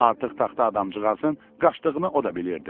Artıq taxta adamcığın qaçdığını o da bilirdi.